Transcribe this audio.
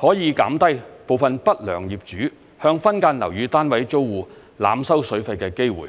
可以減低部分不良業主向分間樓宇單位租戶濫收水費的機會。